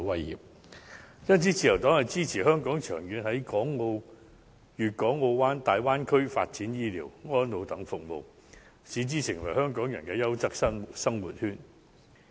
因此，自由黨支持香港長遠在粵港澳大灣區發展醫療、安老等服務，使之成為香港人的"優質生活圈"。